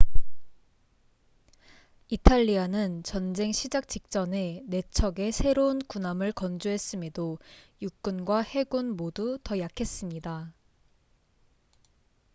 이탈리아는 전쟁 시작 직전에 4척의 새로운 군함을 건조했음에도 육군과 해군 모두 더 약했습니다